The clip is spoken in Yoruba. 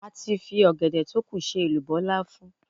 A ti fi ọ̀gẹ̀dẹ̀ tókù ṣe èlùbọ́ láfún.